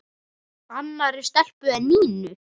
Annarri stelpu en Nínu?